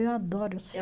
Eu adoro